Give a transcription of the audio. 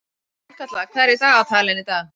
Sólkatla, hvað er í dagatalinu í dag?